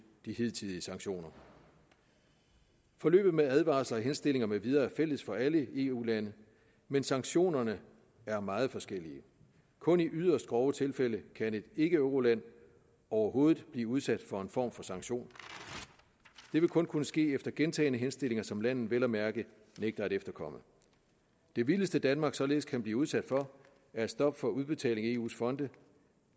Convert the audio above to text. de hidtidige sanktioner forløbet med advarsler og henstillinger med videre er fælles for alle eu lande men sanktionerne er meget forskellige kun i yderst grove tilfælde kan et ikkeeuroland overhovedet blive udsat for en form for sanktion det vil kun kunne ske efter gentagne henstillinger som landet vel at mærke nægter at efterkomme det vildeste danmark således kan blive udsat for er et stop for udbetaling af eus fonde